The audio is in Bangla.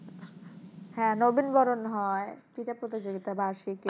হ্যাঁ নবীন বরণ হয় ক্রীড়া প্রতিযোগিতা বার্ষিক